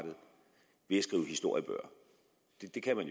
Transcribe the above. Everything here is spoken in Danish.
skrive historiebøger det kan man